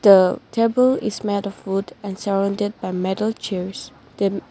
The table is made of wood and surrounded by metal chairs them.